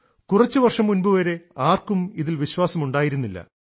കുറച്ചുവർഷം മുൻപുവരെ ആർക്കും ഇതിൽ വിശ്വാസം ഉണ്ടായിരുന്നില്ല